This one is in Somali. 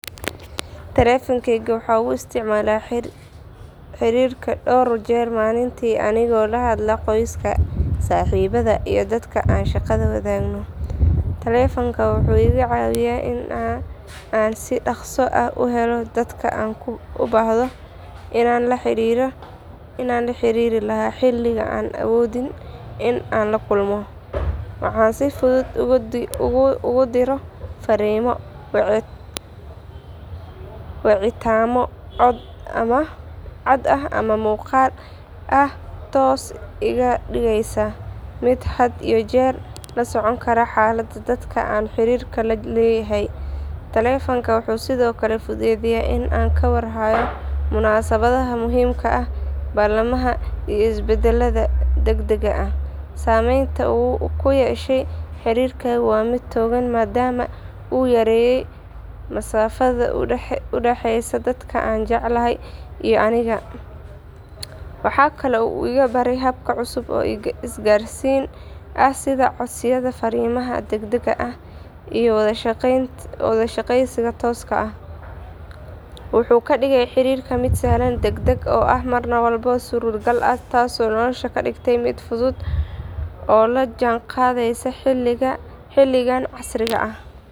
Taleefankayga waxaan ugu isticmaalaa xiriirka dhowr jeer maalintii anigoo la hadla qoyska, saaxiibada iyo dadka aan shaqada wadaagno. Taleefanka wuxuu iga caawiyay in aan si dhakhso ah u helo dad aan u baahdo inaan la xiriiri lahaa xilli aanan awoodin in aan la kulmo. Waxaan si fudud ugu diro fariimo, wicitaanno cod ah ama muuqaal ah taasoo iga dhigaysa mid had iyo jeer la socon kara xaaladda dadka aan xiriirka la leeyahay. Taleefanka wuxuu sidoo kale fududeeyay in aan ka war hayo munaasabadaha muhiimka ah, ballamaha iyo isbeddelada degdegga ah. Saameynta uu ku yeeshay xiriirkayga waa mid togan maadaama uu yareeyay masaafada u dhaxaysa dadka aan jeclahay iyo aniga. Waxaa kaloo uu igu baray habab cusub oo isgaarsiin ah sida codsiyada fariimaha degdegga ah iyo wada sheekaysiga tooska ah. Wuxuu ka dhigay xiriirka mid sahlan, degdeg ah oo mar walba suuragal ah taasoo nolosha ka dhigtay mid fudud oo la jaanqaadaysa xilligan casriga ah.